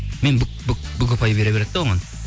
мен бүк ұпай бере береді де оған